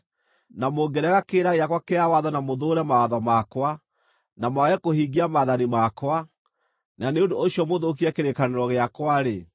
na mũngĩrega kĩrĩra gĩakwa kĩa watho na mũthũũre mawatho makwa, na mwage kũhingia maathani makwa, na nĩ ũndũ ũcio mũthũkie kĩrĩkanĩro gĩakwa-rĩ,